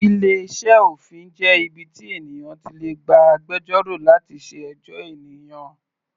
Ilé iṣẹ́ òfin jẹ́ ibi tí ènìyàn ti lè gba agbẹjọ́rò láti ṣe ẹjọ́ ènìyàn.